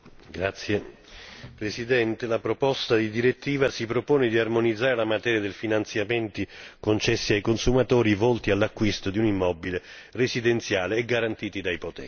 Signor Presidente, la proposta di direttiva si propone di armonizzare la materia dei finanziamenti concessi ai consumatori per l'acquisto di un immobile residenziale e garantiti da